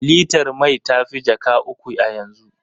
Litar mai ta fi jaka uku a yanzu.